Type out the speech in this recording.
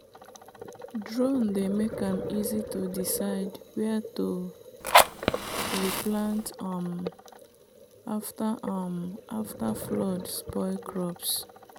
drone dey make am easy to decide where to replant um after um flood spoil crops.